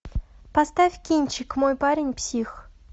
поставь кинчик мой парень псих